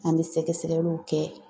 An bɛ sɛgɛsɛgɛliw kɛ.